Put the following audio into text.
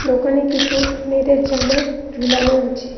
দোকানে কিছু মেয়েদের জামা ঝুলানো আছে।